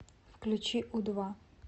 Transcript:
включи у два